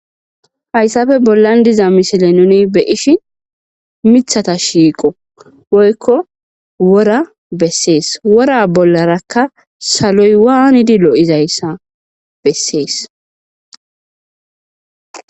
Haysappe bollan de'iza misile nuni beyishn mithata shoiqp woyko wora beses, wora bollaraka saloy waanid lo'izaysa beses